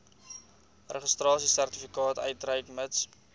registrasiesertifikaat uitreik mits